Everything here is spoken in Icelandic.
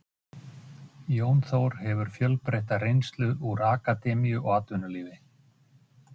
Við viljum vara við því.